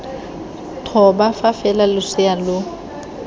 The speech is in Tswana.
thoba fa fela losea lo